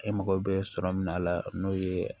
E mago bɛ sɔrɔ min na a la n'o ye